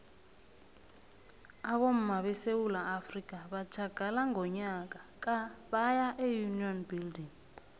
abomma besewula afrika batjhagala ngonyaka ka baya eunion building